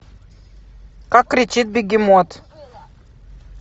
как кричит бегемот